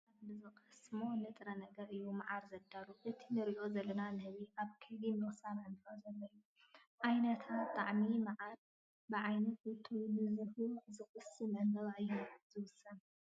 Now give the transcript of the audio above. ንህቢ ካብ ዕምበባታት ብዝቐስሞ ንጥረ ነገር እዩ መዓር ዘዳሎ፡፡ እቲ ንሪኦ ዘለና ንህቢ ኣብ ከይዲ ምቕሳም ዕምበባ ዘሎ እዩ፡፡ ዓይነትን ጣዕምን መዓር ብዓይነት እቶ ንዝህቢ ዝቐስምዎ ዕምበባ እዩ ዝውሰን፡፡